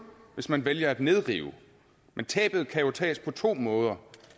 hvis man vælger at nedrive men tabet kan jo tages på to måder